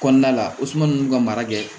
Kɔnɔna la o suma ninnu ka mara kɛ